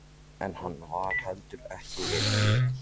En hann var heldur ekki vel gefinn.